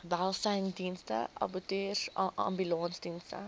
welsynsdienste abattoirs ambulansdienste